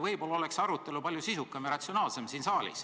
Võib-olla oleks arutelu siin saalis siis palju sisukam ja ratsionaalsem?